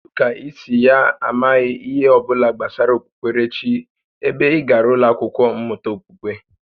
Kedụ kà i si ya amaghị ihe ọbụla gbasara okpukperechi ebe ị gàrà ụlọ akwụkwọ mmụta okpukpe?